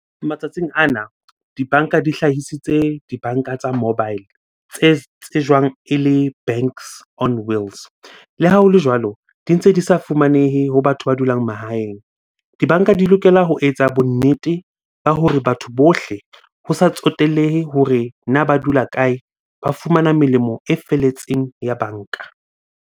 Matsatsing ana dibanka di hlahisitse dibanka tsa mobile tse tsejwang ele banks on wheels. Le ha hole jwalo, di ntse di sa fumanehe ho batho ba dulang mahaeng. Dibanka di lokela ho etsa bonnete ba hore batho bohle ho sa tsotellehe hore na ba dula kae? Ba fumana melemo e felletseng ya banka.